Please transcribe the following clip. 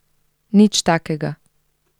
Nič takega.